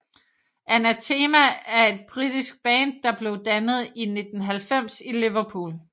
Anathema er et britisk band der blev dannet i 1990 i Liverpool